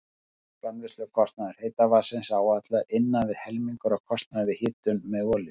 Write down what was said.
Framleiðslukostnaður heita vatnsins áætlaður innan við helmingur af kostnaði við hitun með olíu.